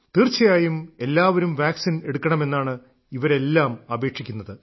തീർച്ചയായും എല്ലാവരും വാക്സിൻ എടുക്കണമെന്നാണ് ഇവരെല്ലാം അപേക്ഷിക്കുന്നത്